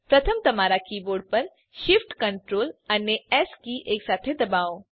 પ્રથમ તમારા કીબોર્ડ પર Shift Ctrl અને એસ કી એકસાથે દબાવો